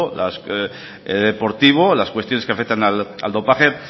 deportivo las cuestiones que afectan al dopaje